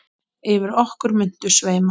Yfir okkur muntu sveima.